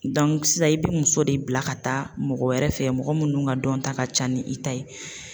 sisan i bɛ muso de bila ka taa mɔgɔ wɛrɛ fɛ mɔgɔ minnu ka dɔnta ka ca ni i ta ye.